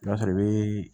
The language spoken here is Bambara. O b'a sɔrɔ i be